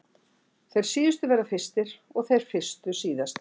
Þeir síðustu verða fyrstir og þeir fyrstu síðastir!